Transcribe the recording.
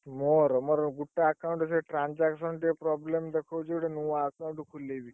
ମୋର, ମୋର ଗୁଟେ account ରେ transaction ଟିକେ problem ଦେଖଉଛି ଗୁଟେ ନୂଆ account ଖୋଲେଇବି।